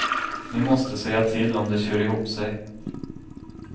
Ni måste säga till om det kör ihop sig.